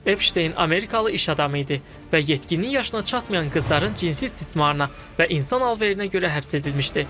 Epşteyn Amerikalı iş adamı idi və yetkinlik yaşına çatmayan qızların cinsi istismarına və insan alverinə görə həbs edilmişdi.